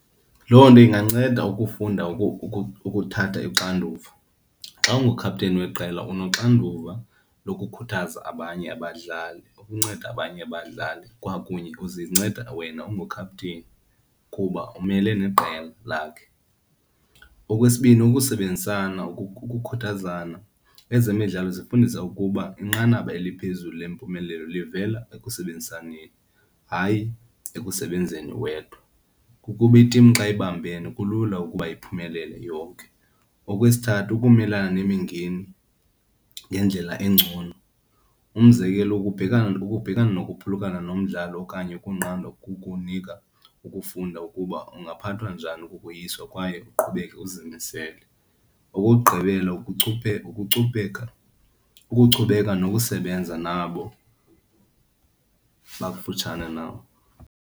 Loo nto inganceda ukufunda ukuthatha ixanduva. Xa ungukhapteni weqela unoxanduva lokukhuthaza abanye abadlali, ukunceda abanye abadlali kwakunye uzinceda wena ungukhapteni kuba umele neqela lakhe. Okwesibini, ukusebenzisana ukukhuthazana. Ezemidlalo zifundisa ukuba inqanaba eliphezulu lempumelelo livela ekusebenzisaneni, hayi ekusebenzeni wedwa. Kukuba itimu xa ibambene kulula ukuba iphumelele yonke. Okwesithathu, ukumelana nemingeni ngendlela engcono. Umzekelo ukubhekana ukubhekana nokuphulukana nomdlalo okanye ukunqandwa kukunika ukufunda ukuba ungaphathwa njani kukoyiswa kwaye uqhubeke uzimisele. Okokugqibela, ukucupheka, ukuchubeka nokusebenza nabo bakufutshane nawe.